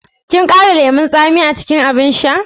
Kin ƙara lemun tsami a cikin abin shan?